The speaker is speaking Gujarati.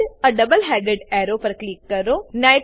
add a double headed arrow પર ક્લિક કરો